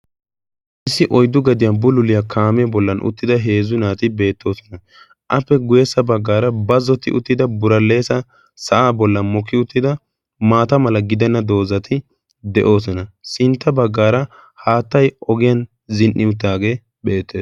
issi oyddu gadiyan bululiyaa kaamee bollan uttida heezzu naati beettoosona appe guyeessa baggaara bazzoti uttida buraleesa sa7aa bollan mokki uttida maata mala gidenna doozati de7oosona sintta baggaara haattai ogiyan zin77i uttaagee beette